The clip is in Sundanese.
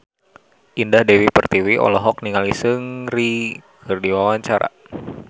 Indah Dewi Pertiwi olohok ningali Seungri keur diwawancara